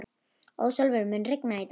Ásólfur, mun rigna í dag?